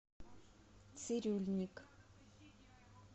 цирюльникъ